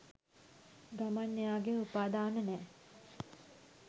ගමන් එයාගේ උපාදාන නෑ.